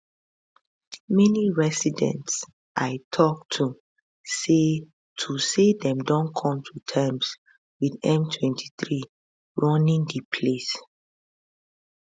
many residents i tok to say to say dem don come to terms with m23 running di place